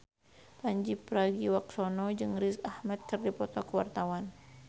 Pandji Pragiwaksono jeung Riz Ahmed keur dipoto ku wartawan